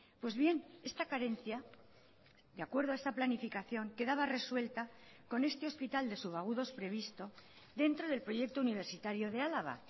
pues bien esta carencia de acuerdo a esta planificación quedaba resuelta con este hospital de sub agudos previsto dentro del proyecto universitario de álava